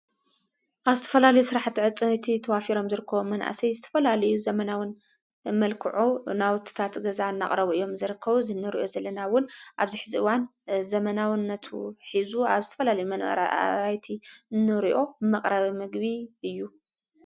ኣብስትፈላሉ ሥራሕ ተዕጽንእቲ ተዋፊሮም ዝርክ መናእሰይ ዝተፈላልዩ ዘመናውን መልክዑ ናውትታ ት ገዛ እናቕረቡ እዮም ።ዘርከ ዝነርዮ ዘለናውን ኣብዚኂዚእዋን ዘመናውነቱ ኂዙ ኣብ ስትፈላል መንረ ኣይቲ ኖርእኦ መቕረዊ ምግቢ እዩ።